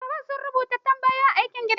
Ɗalibai sun rubuta tambayoyin aikin gida.